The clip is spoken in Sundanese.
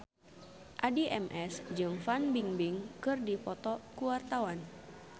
Addie MS jeung Fan Bingbing keur dipoto ku wartawan